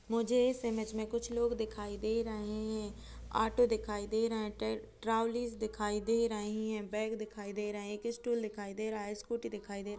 मुझे इस इमेज में कुछ लोग दिखाई दे रहे हैं। ऑटो दिखाई दे रहे हैं। ट्रौली दिखाई दे रहीं हैं। बैग दिखाई दे रहे हैं। एक स्टूल दिखाई दे रहा है। स्कूटी दिखाई दे रह --